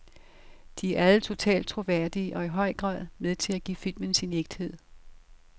De er alle totalt troværdige og i høj grad med til at give filmen sin ægthed.